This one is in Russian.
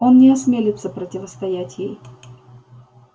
он не осмелится противостоять ей